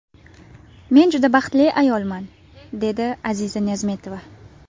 Men judayam baxtli ayolman”, dedi Aziza Niyozmetova.